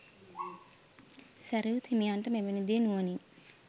සැරියුත් හිමියන්ට මෙවැනි දේ නුවණින්